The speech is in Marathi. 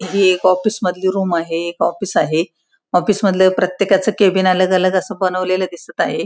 ही एक ऑफिस मधली रूम आहे हे एक ऑफिस आहे ऑफिस मधले प्रत्येकाच कॅबिन अलग अलग अस बनवलेल दिसत आहे.